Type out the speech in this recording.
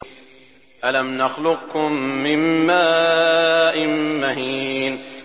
أَلَمْ نَخْلُقكُّم مِّن مَّاءٍ مَّهِينٍ